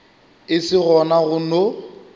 e se gona go no